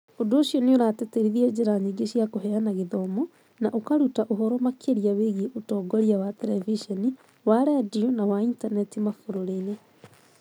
Ũndũ ũcio nĩ ũratĩtĩrithia njĩra nyingĩ cia kũheana gĩthomo na ũkaruta ũhoro makĩria wĩgiĩ ũtongoria wa terebiceni, wa redio, na wa intaneti mabũrũri-inĩ.